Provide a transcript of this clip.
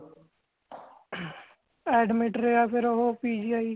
admit ਰਿਹਾ ਫੇਰ ਉਹ PGI